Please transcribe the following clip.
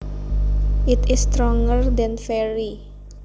It is stronger than very